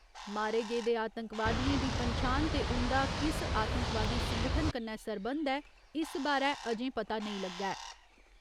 मारे गेदे आतंकवादियें दी पन्छान ते उन्दा किस आतंकवादी संगठन कन्नै सरबंध ऐ, इस बारै अजें पता नेईं लग्गा ऐ।